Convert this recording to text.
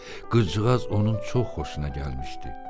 Qıcığaz onun çox xoşuna gəlmişdi.